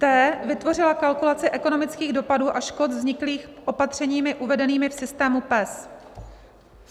t) vytvořila kalkulaci ekonomických dopadů a škod vzniklých opatřeními uvedenými v systému PES.